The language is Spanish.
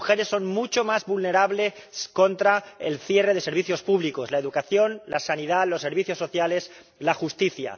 Las mujeres son mucho más vulnerables al cierre de los servicios públicos, la educación, la sanidad, los servicios sociales y la justicia.